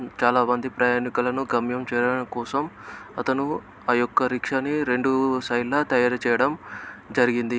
చాలా మంది ప్రయాణికులను గమ్యం చేరడం కోసం అతను ఆ యొక్క రిక్షాని రెండు సైడ్ ల తయారుచేయడం జరిగింది.